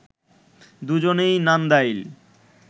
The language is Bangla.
দুজনেই নান্দাইল